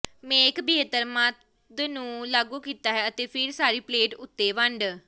ਮੇਖ ਬਿਹਤਰ ਮੱਧ ਨੂੰ ਲਾਗੂ ਕੀਤਾ ਹੈ ਅਤੇ ਫਿਰ ਸਾਰੀ ਪਲੇਟ ਉੱਤੇ ਵੰਡੇ